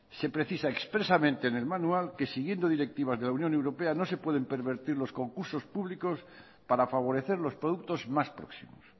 se precisa expresamente en el manual que siguiendo directivas de la unión europea no se pueden pervertir los concursos públicos para favorecer los productos más próximos